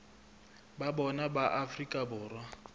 ba bona ba afrika borwa